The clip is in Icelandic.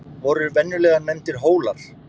voru venjulega nefndir hólar